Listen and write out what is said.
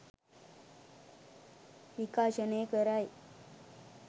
විකාශනය කරයි.